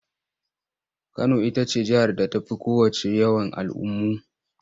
Kano ita ce jihar da ta fi kowacce yawan al'ummu.